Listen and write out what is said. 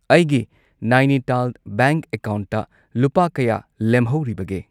ꯑꯩꯒꯤ ꯅꯥꯏꯅꯤꯇꯥꯜ ꯕꯦꯡꯛ ꯑꯦꯀꯥꯎꯟꯠꯇ ꯂꯨꯄꯥ ꯀꯌꯥ ꯂꯦꯝꯍꯧꯔꯤꯕꯒꯦ?